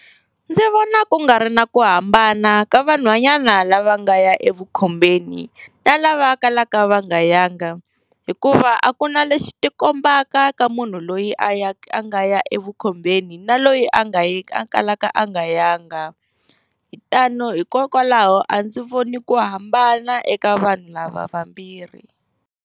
Ndzi vona ku nga ri na ku hambana ka vanhwanyana lava nga ya evukhombeni na lava kalaka va nga yanga, hikuva a ku na lexi xi ti kombaka ka munhu loyi a ya a nga ya evukhombeni na loyi a nga yi a kalaka a nga ya nga. hikokwalaho a ndzi voni ku hambana eka vanhu lava vambirhi.